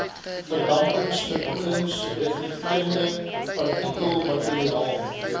verdampingsverkoeling reflekterende partikelmateriaal